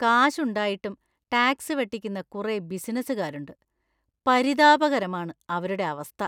കാശുണ്ടായിട്ടും tax വെട്ടിക്കുന്ന കുറെ ബിസിനസുകാരുണ്ട്; പരിതാപകരമാണ് അവരുടെ അവസ്ഥ.